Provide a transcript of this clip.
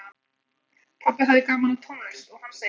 Pabbi hafði gaman af tónlist og hann segir